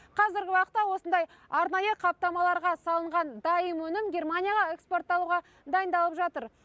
қазіргі уақытта осындай арнайы қаптамаларға салынған дайын өнім германияға экспортталуға дайындалып жатыр